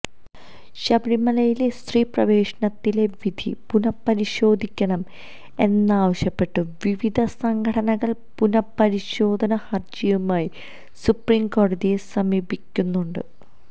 ശബരിമലയിലെ സ്ത്രീ പ്രവേശനത്തിലെ വിധി പുനപരിശോധിക്കണം എന്നാവശ്യപ്പെട്ട് വിവിധ സംഘടനകൾ പുനപരിശോധന ഹർജിയുമായി സുപ്രീംകോടതിയെ സമീപിക്കുന്നുണ്ട്